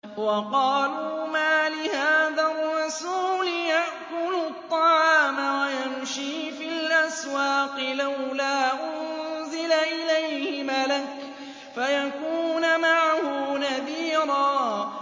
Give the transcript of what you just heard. وَقَالُوا مَالِ هَٰذَا الرَّسُولِ يَأْكُلُ الطَّعَامَ وَيَمْشِي فِي الْأَسْوَاقِ ۙ لَوْلَا أُنزِلَ إِلَيْهِ مَلَكٌ فَيَكُونَ مَعَهُ نَذِيرًا